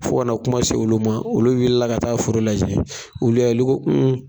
Fo ka na kuma se olu ma, olu wulila ka taa foro lajɛ. Olu y'a ye olu ko